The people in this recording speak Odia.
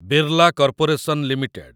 Birla corporation limited